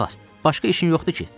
Qulaq as, başqa işin yoxdur ki?